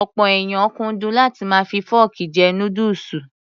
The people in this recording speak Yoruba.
Ọ̀pọ̀ èèyàn kúndùn láti máa fi fọ́ọ̀kì jẹ núdùsù.